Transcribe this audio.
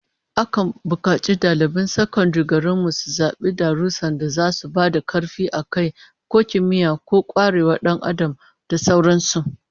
Akan bukaci daliban sakandaren garin mu su zabi darussan da zasu ba da karfi a kai, ko kimiyya, ko kwarewar Dan Adam da sauran su